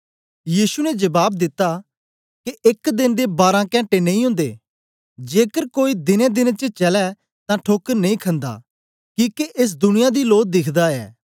यीशु ने जबाब दिता के एक देन दे बारां कैंटे नेई ओदे जेकर कोई दिनेंदिनें च चलै तां ठोकर नेई खंदा किके एस दुनिया दी लो दिखदा ऐ